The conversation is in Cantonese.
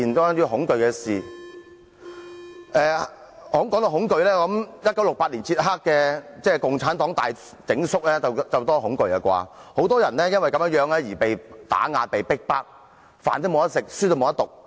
談到恐懼，我想說1968年捷克共產黨大整肅，事件令人很恐懼，很多人因此被打壓、被逼迫，沒有飯吃，不能讀書。